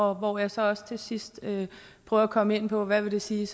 og hvor jeg så også til sidst prøver at komme ind på hvad det vil sige